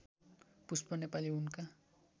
पुष्प नेपाली उनका